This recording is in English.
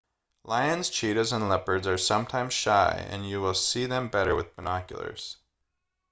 lions cheetahs and leopards are sometimes shy and you will see them better with binoculars